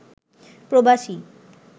প্রবাসী